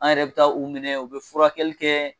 An yɛrɛ bɛ taa u minɛ u bɛ furakɛli kɛ